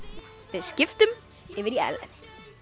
við skiptum yfir á Ellen